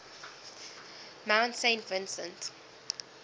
mount saint vincent